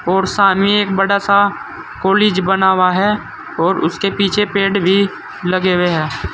और सामने एक बड़ा सा कॉलेज बना हुआ है और उसके पीछे पेड़ भी लगे हुए हैं।